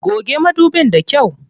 Goge madubin da kyau.